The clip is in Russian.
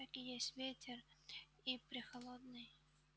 так и есть ветер и прехолодный